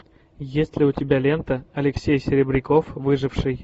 есть ли у тебя лента алексей серебряков выживший